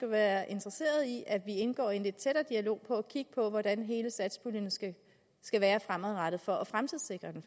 være interesseret i at vi indgår i en lidt tættere dialog og prøver at kigge på hvordan hele satspuljen skal skal være fremadrettet faktisk for at fremtidssikre den